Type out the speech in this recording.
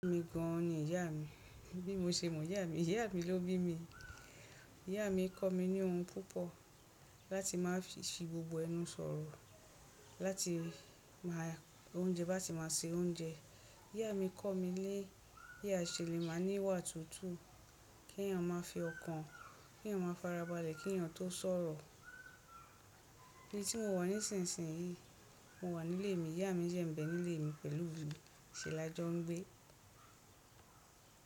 Èmi gan ni ìyá mi, bí mo ṣe mọ ìyá mi? Ìyá mi ló bí mi, ìyá mi kọ́ mi ní ohun púpọ̀ láti máa fi ṣe gbogbo ẹnu sọ̀rọ̀, láti máa oúnjẹ, bá ti máa se oúnjẹ. Ìyá mi kọ́ mí lé bí a ṣe le maa níwà tútù, kí ènìyàn máa fi ọkàn, kí ènìyàn máa farabalẹ̀, kí ènìyàn tó sọ̀rọ̀. Ni tí mo wà nísìnsìnyí, mo wà nílé mi, ìyá mi dẹ̀ ń bẹ nílé mi pẹ̀lú mi, ṣe làjọ ń gbé.